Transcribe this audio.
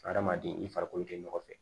Hadamaden i farikolo tɛ ɲɔgɔn fɛ